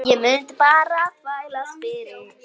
Ég mundi bara þvælast fyrir.